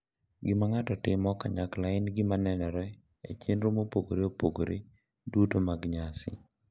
Gima ng’ato timo kanyakla en gima nenore e chenro mopogore opogore duto mag nyasi.